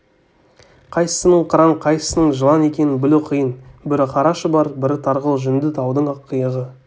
қайсысының қыран қайсысының жылан екенін білу қиын бірі қара шұбар бірі тарғыл жүнді таудың ақ иығы